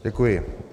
Děkuji.